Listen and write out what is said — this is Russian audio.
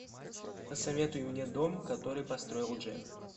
посоветуй мне дом который построил джек